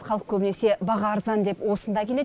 халық көбінесе баға арзан деп осында келеді